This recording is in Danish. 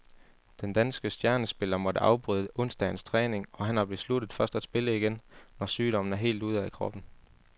Den danske stjernespiller måtte afbryde onsdagens træning, og han har besluttet først at spille igen, når sygdommen er helt ude af kroppen.